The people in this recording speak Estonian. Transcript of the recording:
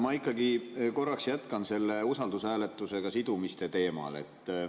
Ma ikkagi korraks jätkan selle usaldushääletusega sidumise teemal.